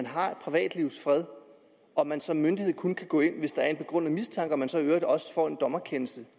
har privatlivets fred og at man som myndighed kun kan gå ind hvis der er en begrundet mistanke og at man så i øvrigt også får en dommerkendelse